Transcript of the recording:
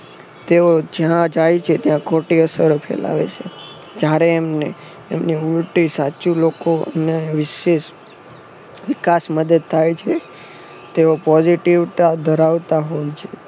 તેઓ જ્યાં જાય છે ત્યાં ખોટી અસરો ફેલાવે છે. જયારે એમને એમની ઉલ્ટી સાચું લોકોને વિષે વિકાશ મદત થાય છે. તેઓ positive ધરાવતા હોય છે.